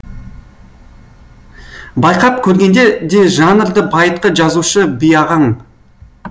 байқап көргенде де жанрды байытқан жазушы би ағаң